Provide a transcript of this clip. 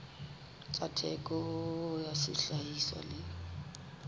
tsa theko ya sehlahiswa le